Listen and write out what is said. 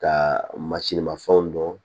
Ka masini ma fɛnw dɔn